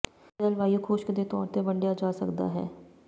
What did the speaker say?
ਜਲਵਾਯੂ ਖੁਸ਼ਕ ਦੇ ਤੌਰ ਤੇ ਵੰਿਡਆ ਜਾ ਸਕਦਾ ਹੈ